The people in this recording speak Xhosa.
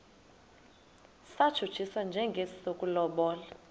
satshutshiswa njengesi sokulobola